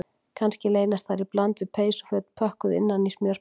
Kannski leynast þar í bland við peysuföt pökkuð innan í smjörpappír